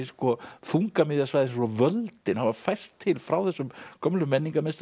þungamiðja svæðisins og völdin hafa færst til frá þessum gömlu